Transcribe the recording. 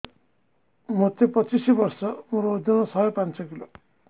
ମୋତେ ପଚିଶି ବର୍ଷ ମୋର ଓଜନ ଶହେ ପାଞ୍ଚ କିଲୋ